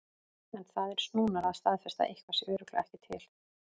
En það er snúnara að staðfesta að eitthvað sé örugglega ekki til.